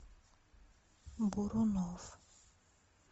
бурунов